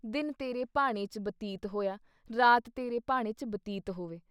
ਦਿਨ ਤੇਰੇ ਭਾਣੇ 'ਚ ਬਤੀਤ ਹੋਇਆ, ਰਾਤ ਤੇਰੇ ਭਾਣੇ 'ਚ ਬਤੀਤ ਹੋਵੇ ।